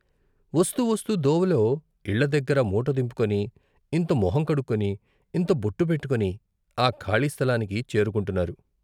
వస్తూ వస్తూ దోవలో ఇళ్ళదగ్గర మూట దింపుకుని ఇంత మొహం కడుక్కుని, ఇంత బొట్టు పెట్టుటని ఆ ఖాళీ స్థలానికి చేరుకుంటున్నారు.